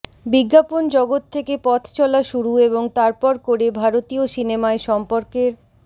বিজ্ঞাপন জগত থেকে পথ চলা শুরু এবং তারপর করে ভারতীয় সিনেমায় সম্পর্কের